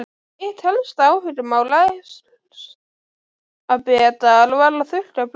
Eitt helsta áhugamál Elsabetar var að þurrka blóm.